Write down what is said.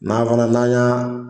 N'a fana n'an y'an